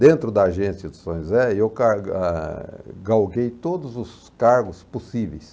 Dentro da agência do São José, e eu claro, ah, galguei todos os cargos possíveis.